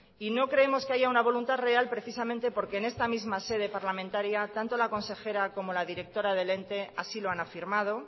y no creemos que haya una voluntad real precisamente porque en esta misma sede parlamentaria tanto la consejera como la directora del ente así lo han afirmado